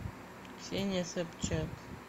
ксения собчак